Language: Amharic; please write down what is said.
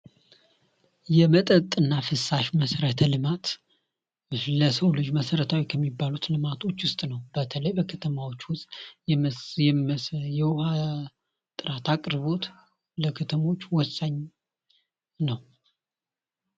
የመጠጥና ፍሳሽ መሰረተ ልማት ለሰው ልጅ መሰረታዊ ልማት ከሚባሉት ውስጥ በተለይ በከተማዎች ውስጥ የውሃ ጥራት አቅርቦት ወሳኝ ነው።